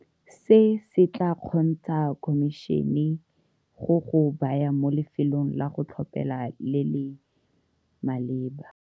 Se se tla kgontsha khomišene go go baya mo lefelong la go tlhophela le le maleba.